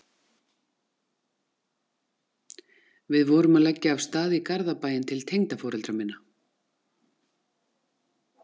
Við vorum að leggja af stað í Garðabæinn til tengdaforeldra minna